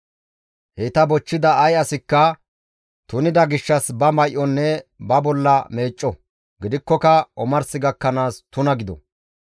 Heyta bochchida ay asikka tunida gishshas ba may7onne ba bolla meecco; gidikkoka omars gakkanaas tuna gido.